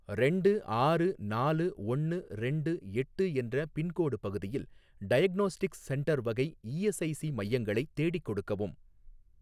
ரெண்டு ஆறு நாலு ஒன்னு ரெண்டு எட்டு என்ற பின்கோடு பகுதியில் டயக்னோஸ்டிக்ஸ் சென்டர் வகை இஎஸ்ஐசி மையங்களைத் தேடிக் கொடுக்கவும்